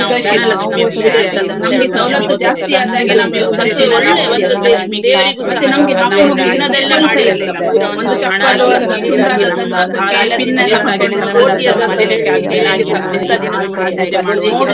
ಒಂದ್ ಇಪ್ಪತ್ತು ವರ್ಷ ಆಯ್ತು ಆ ಹೋದ ಸಲ ನಾನು ಊರಿಗೆ ಹೋದಲ್ಲಿ ಮತ್ತೆ ಅವಳಿಗೆಲ್ಲಾ ಸಿಕ್ಕಿ ಅವ್ಳಿಗೀಗ ಮದ್ವೆ ಎಲ್ಲಾ ಆಗಿ ಮಕ್ಕ್ಳೆಲ್ಲಾ ಇದ್ದಾರೆ ಈಗ, ಆದ್ರೂಸ ನಮ್ಗೆ ಒಂದು ಶಾಲಾ ದಿನಗಳಂತ್ಹೇಳಿದ್ರೆ ನಮ್ಗೆ ಒಂದು ಮರೀಲಿಕ್ಕೆ ಆಗ್ದೇ ಆಗ್ದಿದ್ದ ಅಂತಾ ದಿನ ನಮ್ಗೆ ಇನ್ನೇನ್ ಬರ್ಲಿಕ್ಕಿಲ್ಲ.